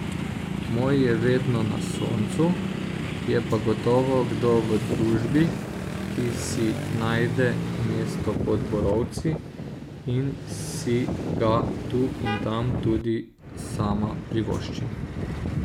Moj je vedno na soncu, je pa gotovo kdo v družbi, ki si najde mesto pod borovci in si ga tu in tam tudi sama privoščim.